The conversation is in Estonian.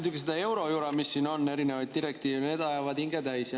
Muidugi, see eurojura, mis siin on, erinevad direktiivid – need ajavad hinge täis.